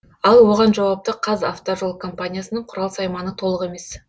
ал оған жауапты қазавтожол компаниясының құрал сайманы толық емес